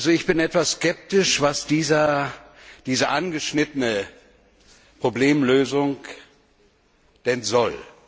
Ich bin etwas skeptisch, was diese angeschnittene Problemlösung denn soll.